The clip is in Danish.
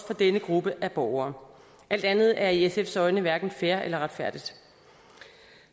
for denne gruppe af borgere alt andet er i sfs øjne hverken fair eller retfærdigt